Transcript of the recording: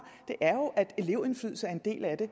at elevindflydelse er en del af det